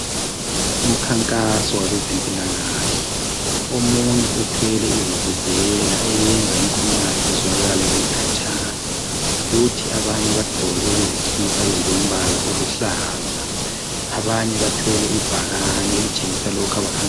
Umkhankaso wabezempilakahle. Omunye uthwele ivuvuzela eyenza inkulumo yakhe izwakale khatshana. Abanye bagqoke izikhipha eziluhlaza. Abanye bathwele ibhakane elitshengisa lokho abakukhankaselayo.